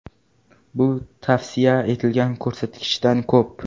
Bu tavsiya etilgan ko‘rsatkichdan ko‘p.